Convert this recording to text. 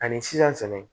Ani sisan fɛnɛ